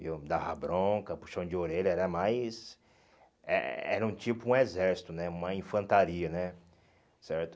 Eu dava bronca, puxão de orelha, era mais... Eh era um tipo um exército né, uma infantaria né, certo?